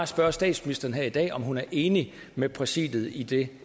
spørge statsministeren her i dag om hun er enig med præsidiet i det